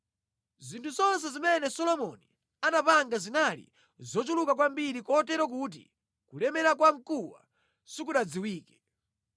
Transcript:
Zinthu zonse zimene Solomoni anapanga zinali zochuluka kwambiri kotero kuti kulemera kwa mkuwa sikunadziwike.